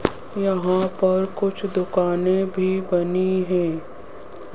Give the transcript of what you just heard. यहां पर कुछ दुकानें भी बनी है ।